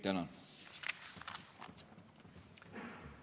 Tänan!